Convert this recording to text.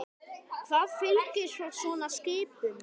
Hvað fylgir svo svona skipum?